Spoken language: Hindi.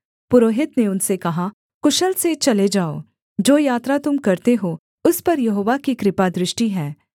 पुरोहित ने उनसे कहा कुशल से चले जाओ जो यात्रा तुम करते हो उस पर यहोवा की कृपादृष्टि है